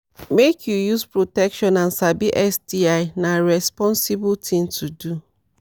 make u use protection and sabi sti na rensposible thing to do